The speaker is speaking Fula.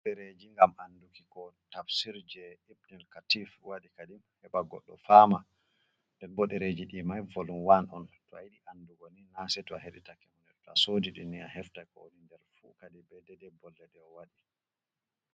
Ɓodereji ngam anduki ko tabsir je ipnel katif waɗi kadim heɓa goɗɗo fama denbo dereji di man volum 1 on, tow ayiɗi andugo ni naseto a heɗi take tow asodi ɗini aheftan ko woni nder fu kadi ɓe dede be bolle je owadi.